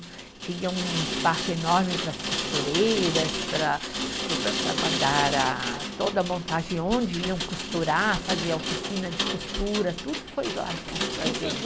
Tinha um espaço enorme para as costureiras, para, para o para guardar a, toda a montagem onde iam costurar, fazer a oficina de costura, tudo foi lá junto com